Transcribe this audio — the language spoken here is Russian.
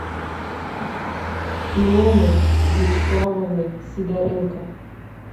илоны вячеславовны сидоренко